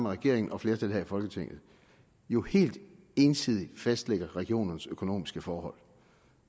regeringen og flertallet her i folketinget jo helt ensidigt fastlægger regionernes økonomiske forhold